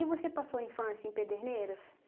você passou a infância em Pederneiras?